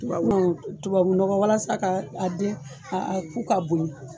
Tubabuu tubabu nɔgɔ walasa k'a a den a a ku ka bonya